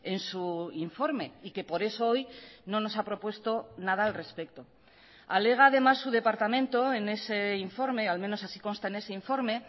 en su informe y que por eso hoy no nos a propuesto nada al respecto alega además su departamento en ese informe al menos así consta en ese informe